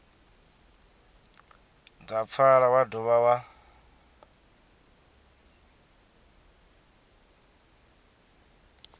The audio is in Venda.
dza pfala wa dovha wa